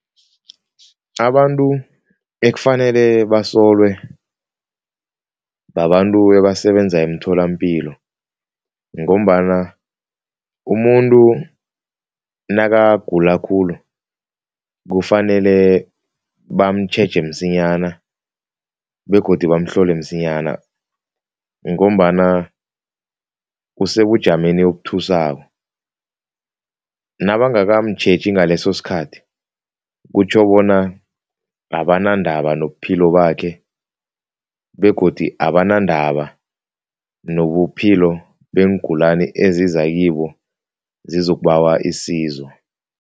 Abantu ekufanele basolwe babantu ebasebenza emtholampilo ngombana umuntu nakagula khulu kufanele bamtjheja msinyana begodu bamhlole msinyana ngombana usebujameni obuthusako. Nabangakamtjheji ngaleso sikhathi, kutjho bona abanandaba nobuphilo bakhe begodi abanandaba nobuphilo beengulani eziza kibo zizokubawa isizo.